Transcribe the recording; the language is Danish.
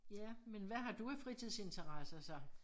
Ja men hvad har du af fritidsinteresser så?